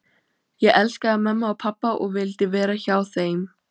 Ég elskaði mömmu og pabba og vildi vera hjá þeim.